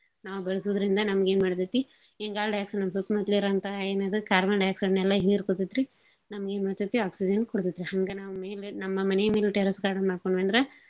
ನಾವ್ ಬೆಳ್ಸೂದ್ರಿಂದ ನಮ್ಗೇನ್ ಮಾಡ್ತತಿ ಇಂಗಾಲದ dioxide ನಮ್ ಸುತ್ಮುತ್ಲಿರೊಂತಹ ಏನಿದು carbon dioxide ನೆಲ್ಲಾ ಹೀರ್ಕೋತೇತ್ರಿ. ನಮ್ಗೇನ್ಮಾಡ್ತತಿ oxygen ಕೊಡ್ತತ್ರಿ. ಹಂಗ ನಮ್ ಮೇಲೆ ನಮ್ ಮನೇ ಮೇಲ್ terrace garden ಮಾಡ್ಕೊಂಡ್ವಂದ್ರ.